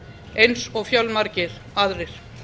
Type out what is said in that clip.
eins og fjölmargir aðrir